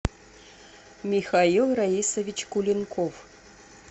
михаил раисович куленков